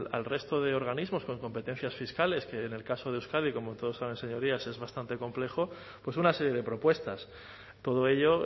al resto de organismos con competencias fiscales que en el caso de euskadi como todos saben señorías es bastante complejo pues una serie de propuestas todo ello